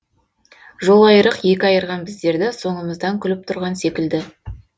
жолайырық екі айырған біздерді соңымыздан күліп тұрған секілді